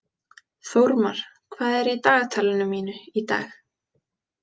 Þórmar, hvað er í dagatalinu mínu í dag?